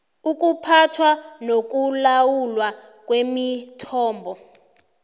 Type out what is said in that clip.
ukuphathwa nokulawulwa kwemithombo